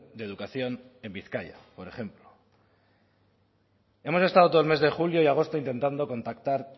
de educación en bizkaia por ejemplo hemos estado todo el mes de julio y agosto intentando contactar